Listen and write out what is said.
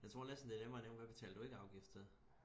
jeg tror næsten det er nemmere at nævne hvad betaler du ikke afgift til